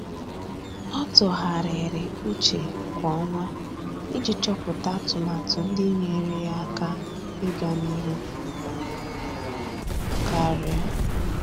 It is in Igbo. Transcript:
Ọ́ tụ́gharị́rị́ úchè kwa ọnwa iji chọ́pụ́tá atụmatụ ndị nyéeré yá áká iganịhụ karịa.